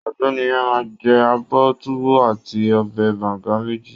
Ọ̀gbẹ́ni yẹn máa jẹ abọ́ Tuwo àti ọbẹ̀ banga méjì